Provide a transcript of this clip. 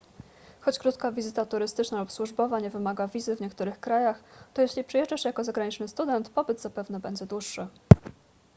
choć krótka wizyta turystyczna lub służbowa nie wymaga wizy w niektórych krajach to jeśli przyjeżdżasz jako zagraniczny student pobyt zapewne będzie dłuższy